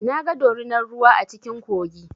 Na ga dorunar ruwa a cikin kogi.